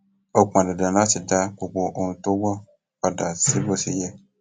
ó pọn dandan láti dá gbogbo ohun tó wọ padà sí bó ṣe yẹ